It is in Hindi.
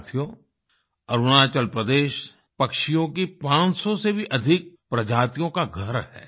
साथियो अरुणाचल प्रदेश पक्षियों की 500 से भी अधिक प्रजातियों का घर है